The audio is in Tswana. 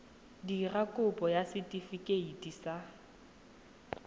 dira kopo ya setefikeiti sa